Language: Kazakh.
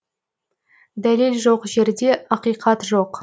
дәлел жоқ жерде ақиқат жоқ